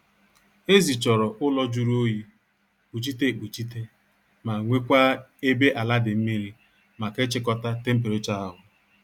Ezi chọrọ ụlọ jụrụ oyi, kpuchite ekpuchite ma nwekwaa ebe ala dị mmiri maka ịchịkọta temperachọ ahu